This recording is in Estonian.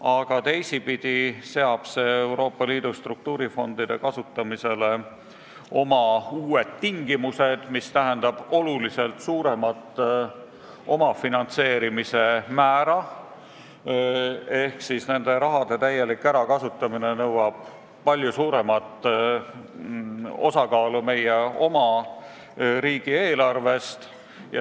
Aga teisipidi seab see Euroopa Liidu struktuurifondide kasutamisele uued tingimused, mis tähendab oluliselt suuremat omafinantseerimise määra ehk siis nende summade täielik ärakasutamine nõuab palju suuremat osakaalu meie oma riigieelarvest.